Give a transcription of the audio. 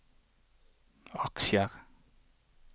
aksjer